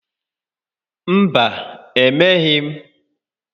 Mba, emeghị m.